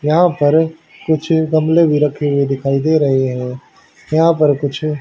यहां पर कुछ गमले भी रखे हुए दिखाई दे रहे हैं यहां पर कुछ--